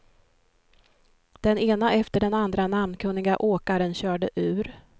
Den ena efter den andra namnkunniga åkaren körde ur.